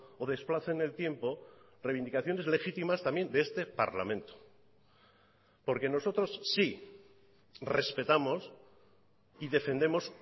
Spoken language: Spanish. o desplace en el tiempo reivindicaciones legítimas también de este parlamento porque nosotros sí respetamos y defendemos